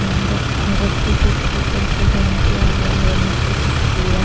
friend रस्सी कुछ ऊपर से हैंग किया हुआ है नीचे कुछ बुआ--